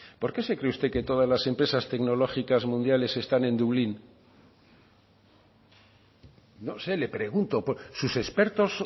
por qué se cree usted que todas las empresas tecnológicas mundiales están en dublín no sé le pregunto sus expertos